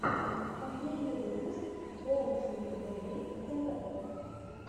последний выпуск боунсинг бэби тэ вэ